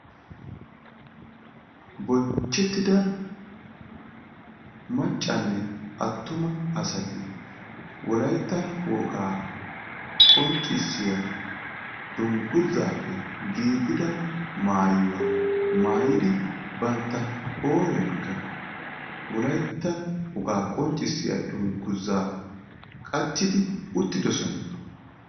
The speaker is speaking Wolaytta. Bonchchetida maccanne attuma asati wolaytta wogaa qonccissiya dungguzappe giiggida maayuwa maayidi bantta qooriyankka wolaytta wogaa qonccissiya dungguza qachchidi uttidoosoan.